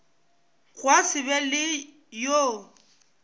gwa se be le yo